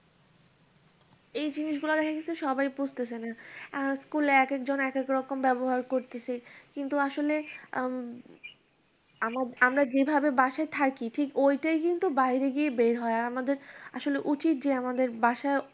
এই জিনিসগুলা কিন্তু সবাই বুঝতাছে না। আর school এক একজন এক একরকম ব্যবহার করতেছে, কিন্তু আসলে আমি এম আমরা যেভাবে বাসায় থাকি ঠিক ওইটাই কিন্তু বাইরে গিয়ে বের হয়। আমাদের আসলে উচিত যে আমাদের বাসায়